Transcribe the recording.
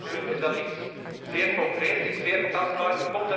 Voor u is dat iets zeer concreets, iets zeer tastbaars.